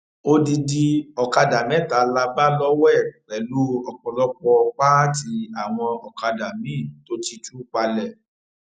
odidi ọkadà mẹta la bá lọwọ ẹ pẹlú ọpọlọpọ pààtì àwọn ọkadà miín tó ti tú palẹ